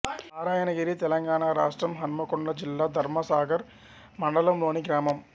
నారాయణగిరి తెలంగాణ రాష్ట్రం హన్మకొండ జిల్లా ధర్మసాగర్ మండలంలోని గ్రామం